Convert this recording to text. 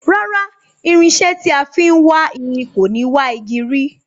Rárá, irinsé tí a fin wá irin kò ni wà igi rí